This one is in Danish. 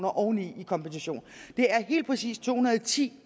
oveni i kompensation det er helt præcis to hundrede og ti